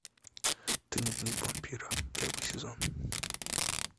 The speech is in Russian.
дневник вампира первый сезон